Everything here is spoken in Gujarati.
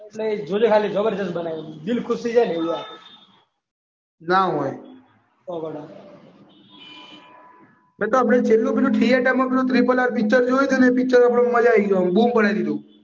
એટલે જોજો ખાલી જબરજસ્ત બનાવી છે દિલ ખુશ થઈ જાય ને એવું. ના હોય. એતો ગોડા એ તો આપણે થિયેટરમાં પેલું RRR પિક્ચર જોયું હતું ને એ પિક્ચરમાં આપણે મજા આવી ગઈ બૂમ પડાઈ દીધી.